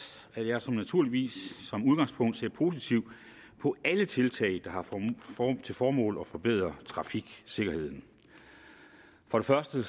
at jeg naturligvis som udgangspunkt ser positivt på alle tiltag der har til formål at forbedre trafiksikkerheden for det første